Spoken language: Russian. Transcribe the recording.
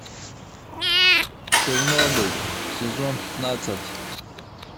чернобыль сезон пятнадцать